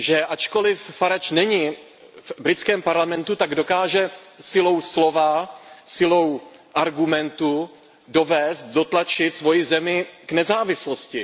Ačkoliv Farage není v britském parlamentu, tak dokáže silou slova, silou argumentů dovést, dotlačit svoji zemi k nezávislosti.